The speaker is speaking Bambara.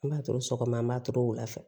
An b'a to sɔgɔma an b'a to wulafɛ